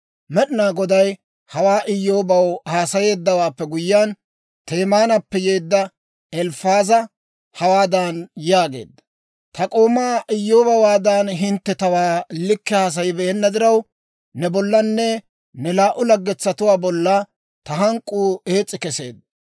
Med'inaa Goday hawaa Iyyoobaw haasayeeddawaappe guyyiyaan, Temaanappe yeedda Elifaaza hawaadan yaageedda; «Ta k'oomaa Iyyoobewaadan, hintte tawaa likke haasayibeenna diraw, ne bollanne ne laa"u laggetuwaa bolla ta hank'k'uu ees's'i keseedda.